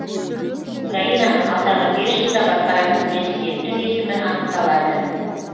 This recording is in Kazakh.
украинаны алдағы бес жылда басқаратын президенттің есімі анықталады